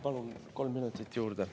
Palun kolm minutit juurde.